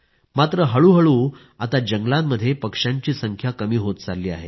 मात्र हळूहळू आता जंगलांमध्ये पक्ष्यांची संख्या कमी होत चालली आहे